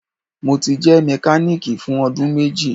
Mo ti jẹ mekaniki fun ọdun meji